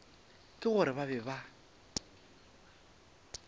ka gore ba be ba